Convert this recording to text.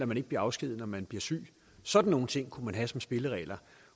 man ikke bliver afskediget når man bliver syg sådan nogle ting kunne man have som spilleregler